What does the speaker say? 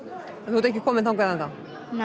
þú ert ekki kominn þangað